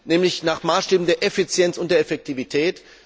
nämlich nach Maßstäben der Effizienz und der Effektivität.